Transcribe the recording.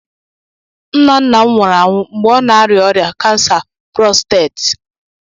Nna nna m nwụrụ anwụ mgbe ọ na-arịa ọrịa kansa prosteeti